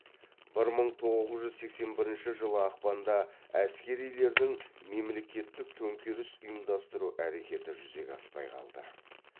бір мың тоғыз жүз сексен бірінші жылы ақпанда әскерилердің мемлекеттік төңкеріс ұйымдастыру әрекеті жүзеге аспай қалды